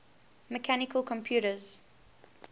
mechanical computers